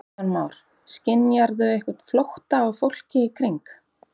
Kristján Már: Skynjarðu einhvern ótta á fólki í kring?